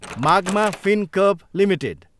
मागमा Fincorp Ltd